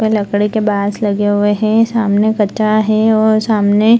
वह लकड़ी के बास लगे हुए हें सामने कचरा है और सामने --